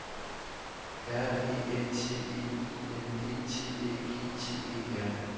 R E N T E I N D T Æ G T E R